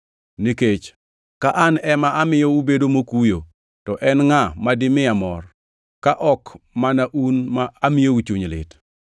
Nikech ka an ema amiyo ubedo mokuyo, to en ngʼa ma dimiya mor, ka ok mana un ma amiyou chuny lit?